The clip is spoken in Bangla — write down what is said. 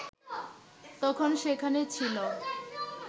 তখন সেখানে ছিলো